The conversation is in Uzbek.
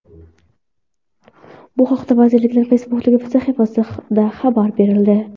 Bu haqda vazirlikning Facebook’dagi sahifasida xabar berildi .